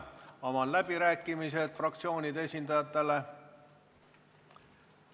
Avan läbirääkimised fraktsioonide esindajatele.